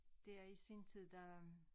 Dér i sin tid der